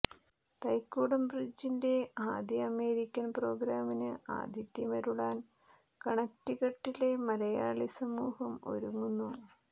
തൈക്കുടം ബ്രിഡ്ജിന്റെ ആദ്യ അമേരിക്കൻ പ്രോഗ്രാമിന് ആതിഥ്യമരുളാൻ കണക്ടിക്കട്ടിലെ മലയാളി സമൂഹം ഒരുങ്ങുന്നു